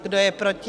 Kdo je proti?